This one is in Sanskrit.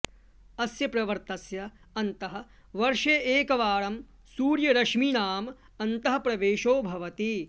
अस्य पर्वतस्य अन्तः वर्षे एकवारं सूर्यरश्मीनाम् अन्तःप्रवेशो भवति